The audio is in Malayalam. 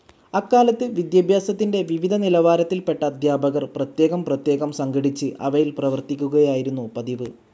അക്കാലത്ത് വിദ്യാഭ്യാസത്തിന്റെ വിവിധ നിലവാരത്തിൽപെട്ട അധ്യാപകർ പ്രത്യേകം പ്രത്യേകം സംഘടിച്ച് അവയിൽ പ്രവർത്തിക്കുകയായിരുന്നു പതിവ്.